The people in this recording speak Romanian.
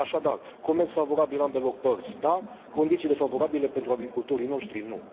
Așadar, comerț favorabil ambelor părți, da, condiții defavorabile pentru agricultorii noștri, nu.